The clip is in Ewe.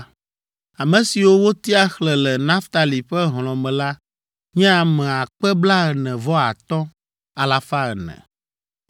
Ame siwo wotia xlẽ le Naftali ƒe hlɔ̃ me la nye ame akpe blaene-vɔ-atɔ̃, alafa ene (45,400).